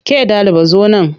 Ke ɗaliba zo nan!